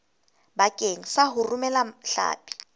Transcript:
bakeng sa ho romela hlapi